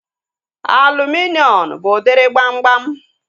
Aluminium bụ udiri gbamgbam